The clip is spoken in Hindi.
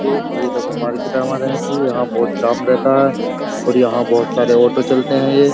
ये देखो मार्केट हमारे हैं कि यहां बहुत जाम रहता है और यहाँ बहुत सारे ऑटो चलते हैं ये।